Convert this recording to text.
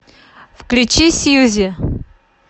включи сьюзи